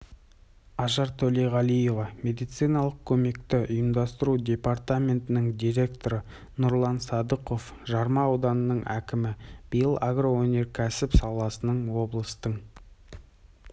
ажар төлеғалиева медициналық көмекті ұйымдастыру департаментінің директоры нұрлан сыдықов жарма ауданының әкімі биыл агроөнеркәсіп саласының облыстың